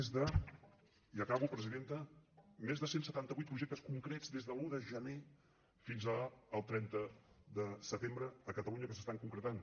més de ja acabo presidenta cent i setanta vuit projectes concrets des de l’un de gener fins al trenta de setembre a catalunya que s’estan concretant